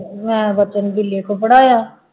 ਮੈਂ ਬੱਚਿਆਂ ਪੜ੍ਹਾਇਆ